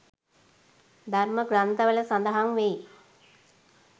ධර්ම ග්‍රන්ථවල සඳහන් වෙයි.